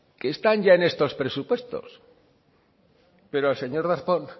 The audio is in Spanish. están ya en estos presupuestos pero al señor darpón